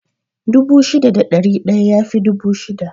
Dubu shida da ɗari ɗaya yafi dubu shida